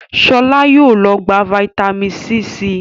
Shola yóò ló gbà vitamin c sí.